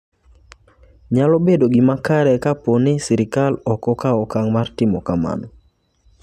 Nyalo bedo gima kare ka po ni sirkal ok okawo okang' mar timo kamano.